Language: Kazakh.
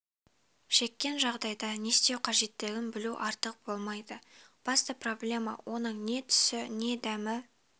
шеккен жағдайда не істеу қажеттігін білу артық болмайды басты проблема оның не түсі не дәмі